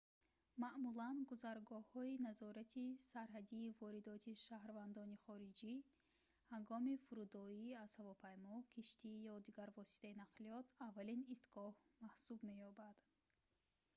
маъмулан гузаргоҳҳои назорати сарҳадии воридоти шаҳрвандони хориҷӣ ҳангоми фурудоӣ аз ҳавопаймо киштӣ ё дигар воситаи нақлиёт аввалин истгоҳ маҳсуб меёбад